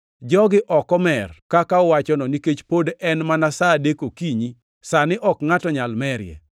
Jogi ok omer kaka uwachono nikech pod en mana sa adek okinyi sani ok ngʼato nyal merie!